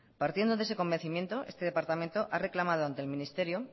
partiendo de ese convencimiento este departamento ha reclamado ante el ministerio